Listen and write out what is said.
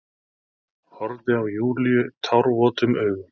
Horfði á Júlíu tárvotum augum.